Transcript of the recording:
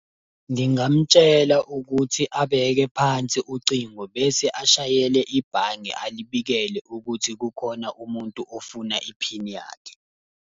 Ngingamutshela ukuthi abeke phansi ucingo, bese ashayele ibhange alibikele ukuthi kukhona umuntu ofuna iphini yakhe.